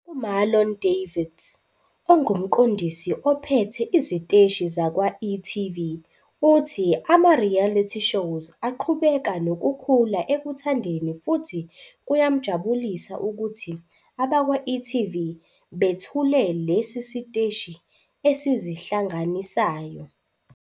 UMarlon Davids, ongumqondisi ophethe iziteshi zakwa-e.tv, uthi ama-reality shows aqhubeka nokukhula ekuthandeni futhi kuyamjabulisa ukuthi abakwa-e.tv bethule lesi siteshi esizihlanganisayo.